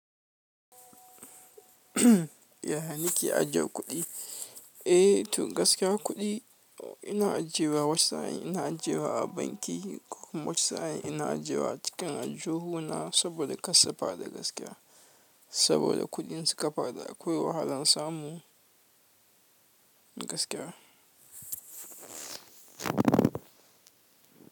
Ya ni ke aje kuɗi? Eh, to gaskiya kuɗi ina ajiyewa wasu sa'in ina ajiyewa a banki kuma wasu sa'in ina ajiyewa cikin aljihu na saboda karsu faɗi gaskiya saboda kuɗi in suka faɗi akwai wahalan samu gaskiya.